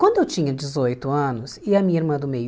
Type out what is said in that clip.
Quando eu tinha dezoito anos e a minha irmã do meio